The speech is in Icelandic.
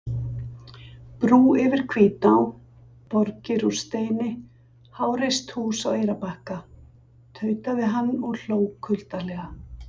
Brú yfir Hvítá, borgir úr steini, háreist hús á Eyrarbakka, tautaði hann og hló kuldalega.